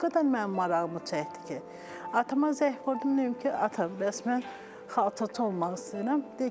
O qədər mənim marağımı çəkdi ki, atama zəng vurdum dedim ki, ata, bəs mən xalçaçı olmaq istəyirəm.